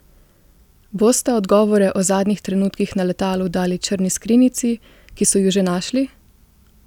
Bosta odgovore o zadnjih trenutkih na letalu dali črni skrinjici, ki so ju že našli?